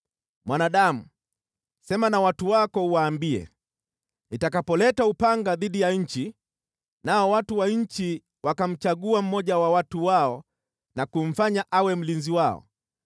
“Mwanadamu, sema na watu wako uwaambie, ‘Nitakapoleta upanga dhidi ya nchi, nao watu wa nchi wakamchagua mmoja wa watu wao na kumfanya awe mlinzi wao,